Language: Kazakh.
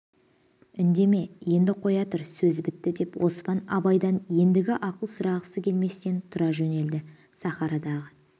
үндеме енді қоя тұр сөз бітті деп оспан абайдан ендігі ақылды сұрағысы келместең тұра жөнелді сахарадағы